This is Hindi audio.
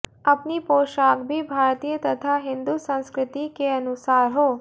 अपनी पोशाक भी भारतीय तथा हिंदु संस्कृतिके अनुसार हो